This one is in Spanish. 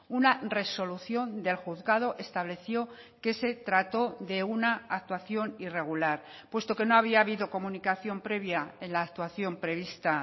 una resolución del juzgado estableció que se trató de una actuación irregular puesto que no había habido comunicación previa en la actuación prevista